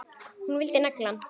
Hún vildi negla hann!